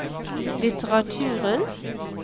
litteraturen